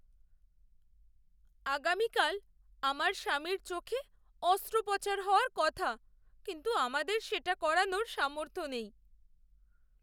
আগামীকাল আমার স্বামীর চোখে অস্ত্রোপচার হওয়ার কথা কিন্তু আমাদের সেটা করানোর সামর্থ্য নেই।